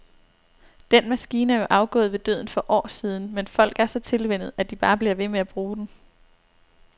Den maskine er jo afgået ved døden for år siden, men folk er så tilvænnet, at de bare bliver ved med at bruge den.